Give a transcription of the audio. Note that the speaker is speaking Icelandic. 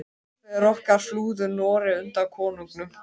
Forfeður okkar flúðu Noreg undan konungum.